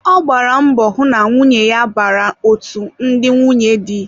Ọ gbara mbọ hụ na nwunye ya bara otú ndị nwunye dị